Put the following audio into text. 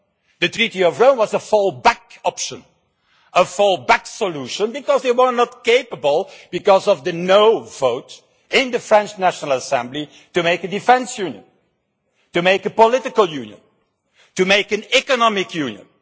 The Treaty of Rome was a fall back option, a fall back solution, because they were not able because of the no' vote in the French National Assembly to make a defence union, to make a political union, and to make an economic union.